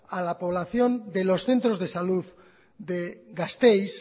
a la población de los centros de salud de gasteiz